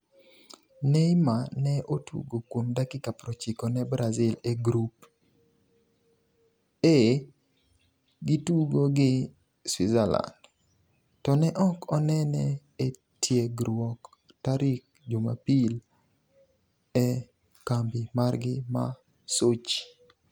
Neymar ne otugo kuom dakika 90 ne Brazil e grup E gitugo gi Switzerland, to ne ok onene e tiegruok tarik jumapil e kambi margi ma Sochi.